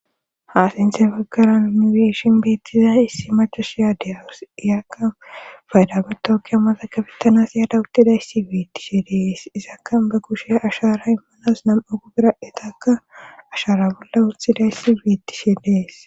haasinthe baggara miweeshin biittiza issi machoshiyaadiyawus iyaka faydaguta okkiammatakafettanas yaada uttidayssi wiittishe dees izaka ba kushe ashara immanas nam7a gubira etakka ashara bolla wuthidayssi wiittishe dees